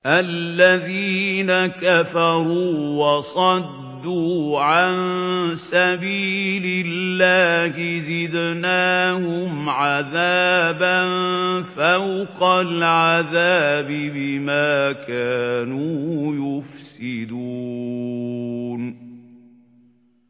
الَّذِينَ كَفَرُوا وَصَدُّوا عَن سَبِيلِ اللَّهِ زِدْنَاهُمْ عَذَابًا فَوْقَ الْعَذَابِ بِمَا كَانُوا يُفْسِدُونَ